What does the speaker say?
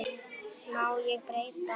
Má ég breyta?